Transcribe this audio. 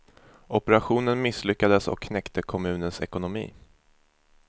Operationen misslyckades och knäckte kommunens ekonomi.